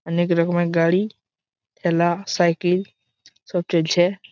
অনেক রকমের গাড়ি ঠেলা সাইকেল সব চলছে ।